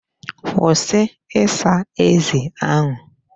Kwụsị ịsa ezi ahụ.